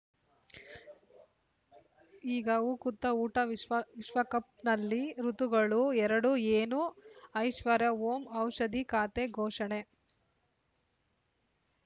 ಈಗ ಉಕುತ ಊಟ ವಿಶ್ವ ವಿಶ್ವಕಪ್‌ನಲ್ಲಿ ಋತುಗಳು ಎರಡು ಏನು ಐಶ್ವರ್ಯಾ ಓಂ ಔಷಧಿ ಖಾತೆ ಘೋಷಣೆ